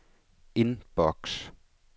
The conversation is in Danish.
indboks